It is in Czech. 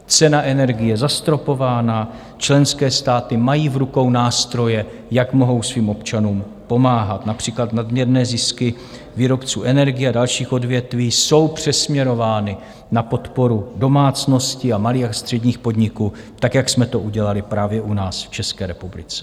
Cena energií je zastropována, členské státy mají v rukou nástroje, jak mohou svým občanům pomáhat, například nadměrné zisky výrobců energií a dalších odvětví jsou přesměrovány na podporu domácností a malých a středních podniků, tak jak jsme to udělali právě u nás v České republice.